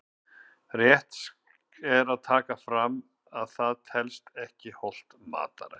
Rétt er að taka fram að það telst ekki hollt mataræði!